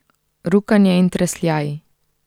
Rukanje in tresljaji.